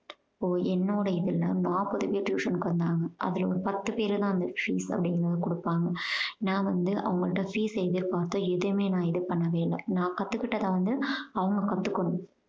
இப்போ என்னோட இதுல நான் tuition க்கு வந்தாங்க அதுல ஒரு பத்து பேர தான் அந்த fees அப்படீங்கறத கொடுப்பாங்க. நான் வந்து அவங்கள்ட fees எதிர்பாத்து எதையுமே நான் இது பண்ணவே இல்ல. நான் கத்துக்கிட்டத வந்து அவங்க கத்துக்கணும்.